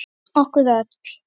Okkur öll.